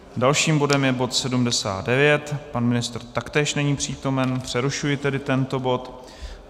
Dalším bodem je bod 79, pan ministr taktéž není přítomen, přerušuji tedy tento bod.